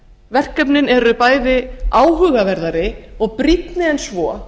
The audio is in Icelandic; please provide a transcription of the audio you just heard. verkefnin eru bæði áhugaverðari og brýnni en svo